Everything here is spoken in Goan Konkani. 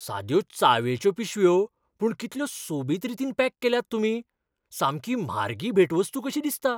साद्यो च्यावेच्यो पिशव्यो, पूण कितल्यो सोबीत रितीन पॅक केल्यात तुमी, सामकी म्हारगी भेटवस्तू कशी दिसता.